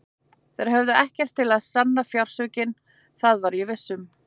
Þeir höfðu ekkert til að sanna fjársvikin, það var ég viss um.